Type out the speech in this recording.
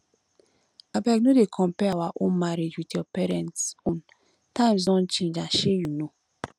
abeg no dey compare our um marriage with your parents own times don change and shey you know